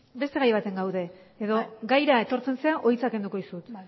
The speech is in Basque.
beste gai batean gaude edo gaira etortzen zara edo hitza kenduko dizut